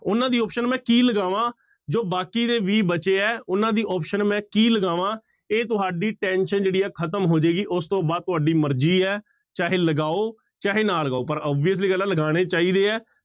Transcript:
ਉਹਨਾਂ ਦੀ option ਮੈਂ ਕੀ ਲਗਾਵਾਂ, ਜੋ ਬਾਕੀ ਦੇ ਵੀਹ ਬਚੇ ਹੈ ਉਹਨਾਂ ਦੀ option ਮੈਂ ਕੀ ਲਗਾਵਾਂ, ਇਹ ਤੁਹਾਡੀ tension ਜਿਹੜੀ ਹੈ ਖ਼ਤਮ ਹੋ ਜਾਏਗਾ, ਉਸ ਤੋਂ ਬਾਅਦ ਤੁਹਾਡੀ ਮਰਜ਼ੀ ਹੈ ਚਾਹੇ ਲਗਾਓ ਚਾਹੇ ਨਾ ਲਗਾਓ ਪਰ obviously ਗੱਲ ਹੈ ਲਗਾਉਣੇ ਚਾਹੀਦੇ ਹੈ।